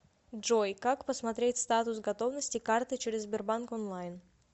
джой как посмотреть статус готовности карты через сбербанк онлайн